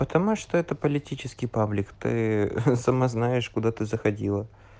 потому что это политический паблик ты сама знаешь куда ты заходила